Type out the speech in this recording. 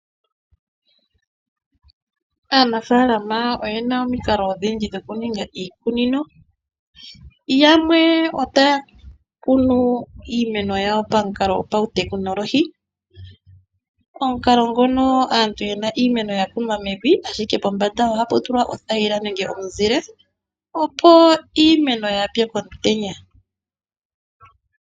Aanafaalama oyena omikalo odhindji dhokuninga iikunino. Yamwe ohaya kunu iimeno pamukalo gopashinanena. Omukalo muna aantu oyena iimeno yakunwa mevi, ashike pombanda ohapu tulwa othayila nenge omuzile opo iimeno yaapye komutenya.